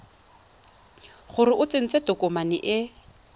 gore o tsentse tokomane e